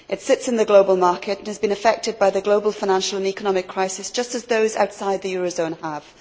It sits in the global market and has been affected by the global financial and economic crisis just as those outside the eurozone have.